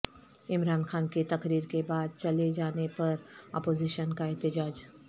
عمران خان کے تقریر کے بعد چلے جانے پر اپوزیشن کا احتجاج